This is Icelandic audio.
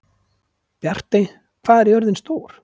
Bjartey, hvað er jörðin stór?